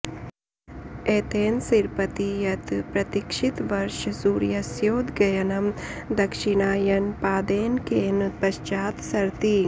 एतेन सिरपति यत् प्रतिक्षितवर्ष सूर्यस्योदगयनं दक्षिणायनपादेनैकेन पश्चात् सरति